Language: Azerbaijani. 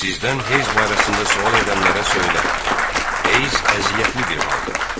Sizdən heyz barəsində sual edənlərə söylə: Heyz əziyyətli bir haldır.